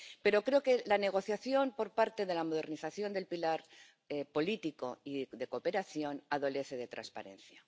Pero creo que la negociación por parte de la modernización del pilar político y de cooperación adolece de transparencia.